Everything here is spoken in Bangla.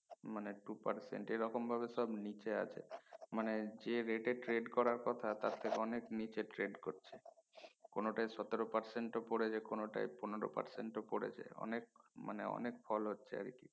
মানে two percent এরকম ভাবে সব নিচে আছে মানে যে rate trade করার কথা তার থেকে অনেক নিচে trade করছে কোনটা সতেরো percent পরে যায় কোনটা পনেরো percent ও পরে যায় অনেক মানে অনেক ফোল হচ্ছে আর কি